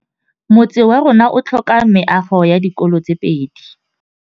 Motse warona o tlhoka meago ya dikolô tse pedi.